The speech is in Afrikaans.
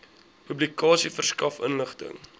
publikasie verskaf inligting